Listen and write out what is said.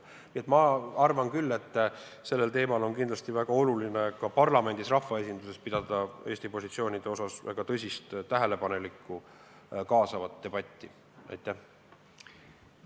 Nii et ma arvan, et sellel teemal on kindlasti väga oluline ka parlamendis, rahvaesinduses, pidada maha väga tõsine, tähelepanelik ja kaasav debatt Eesti positsioonide üle.